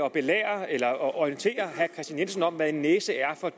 at belære eller orientere herre kristian jensen om hvad en næse er for